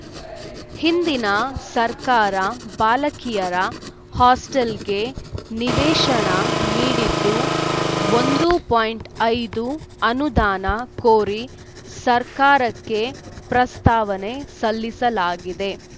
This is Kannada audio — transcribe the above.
ಹಿಂದಿನ ಸರ್ಕಾರ ಬಾಲಕಿಯರ ಹಾಸ್ಟೆಲ್‌ಗೆ ನಿವೇಶನ ನೀಡಿದ್ದು ಒಂದು ಪೋಯಿಂಟ್ ಐದು ಅನುದಾನ ಕೋರಿ ಸರ್ಕಾರಕ್ಕೆ ಪ್ರಸ್ತಾವನೆ ಸಲ್ಲಿಸಲಾಗಿದೆ